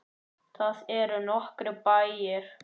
Þar eru nokkrir bæir.